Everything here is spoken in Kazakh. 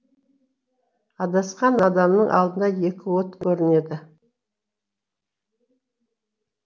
адасқан адамның алдынан екі от көрінеді